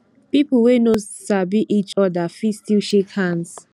pipo wey no sabi each oda fit still shake hands